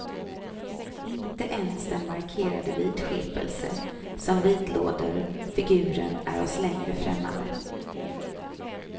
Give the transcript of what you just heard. Inte ens den markerade vidskepelse som vidlåder figuren är oss längre främmande.